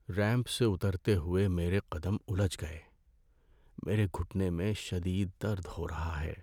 Ramp سے اترتے ہوئے میرے قدم الجھ گئے۔ میرے گھٹنے میں شدید درد ہو رہا ہے۔